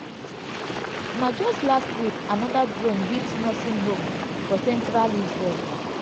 na just last week anoda drone hit nursing home for central israel.